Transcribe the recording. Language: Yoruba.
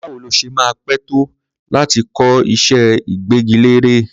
Báwo ló ṣe máa pẹ́ tó láti kọ́ iṣẹ́ ìgbẹ́gilére?